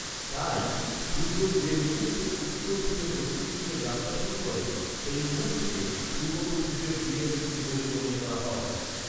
তাই, সূর্য যে মুহূর্তে উত্তর থেকে দক্ষিণ দিকে যাত্রা শুরু করে, সেই মুহূর্তকে পূর্বপুরুষদের দিনের শুরু বলে মনে করা হয়।